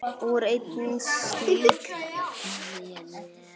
Úr einni slíkri jafnaði liðið.